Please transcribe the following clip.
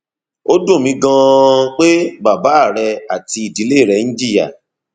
ó dùn mí ganan pé bàbá rẹ àti ìdílé rẹ ń jìyà